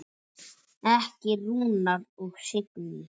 Ykkar Rúnar og Signý.